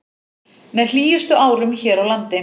Með hlýjustu árum hér á landi